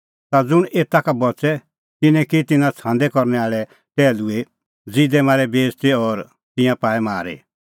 ता ज़ुंण एता का बच़ै तिन्नैं की तिन्नां छ़ांदै करनै आल़ै टैहलूए ज़िदै मारै बेइज़ती और तिंयां पाऐ मारी